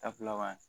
Dafilanan